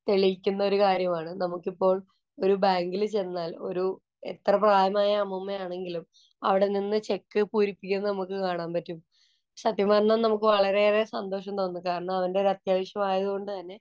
തെളിയിക്കുന്ന ഒരു കാര്യമാണ്. നമുക്കിപ്പോള്‍ ഒരു ബാങ്കില് ചെന്നാല്‍ ഒരു എത്ര പ്രായമായ അമ്മൂമ്മയാണെങ്കിലും അവിടെ നിന്നു ചെക്ക് പൂരിപ്പിക്കുന്നത് നമുക്ക് കാണാന്‍ പറ്റും. സത്യം പറഞ്ഞാല്‍ നമുക്ക് വളരെയേറെ സന്തോഷം തോന്നും. കാരണം, അവന്റെ ഒരു അത്യാവശ്യം ആയതു കൊണ്ട് തന്നെ